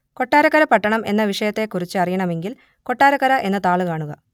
കൊട്ടാരക്കര പട്ടണം എന്ന വിഷയത്തെക്കുറിച്ച് അറിയണമെങ്കിൽ കൊട്ടാരക്കര എന്ന താൾ കാണുക